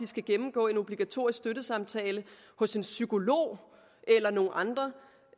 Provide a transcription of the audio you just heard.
skal gennemgå en obligatorisk støttesamtale hos en psykolog eller nogle andre